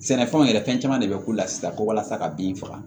Sɛnɛfɛnw yɛrɛ fɛn caman de bɛ k'u la sisan ko walasa ka bin faga